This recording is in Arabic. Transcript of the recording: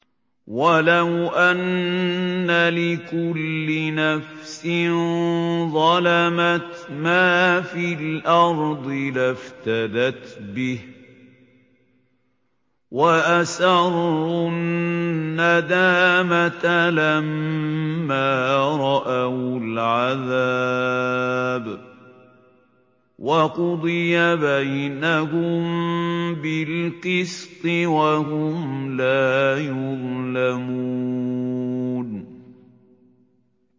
وَلَوْ أَنَّ لِكُلِّ نَفْسٍ ظَلَمَتْ مَا فِي الْأَرْضِ لَافْتَدَتْ بِهِ ۗ وَأَسَرُّوا النَّدَامَةَ لَمَّا رَأَوُا الْعَذَابَ ۖ وَقُضِيَ بَيْنَهُم بِالْقِسْطِ ۚ وَهُمْ لَا يُظْلَمُونَ